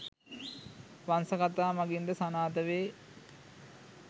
වංශ කථා මගින් ද සනාථ වේ.